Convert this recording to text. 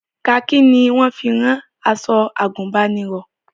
Kaakí ni wọ́n fi ń rán aṣọ àgùnbánirọ̀